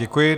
Děkuji.